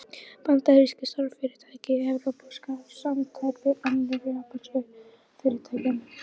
Bandarísk stórfyrirtæki, evrópskar samsteypur, önnur japönsk fyrirtæki.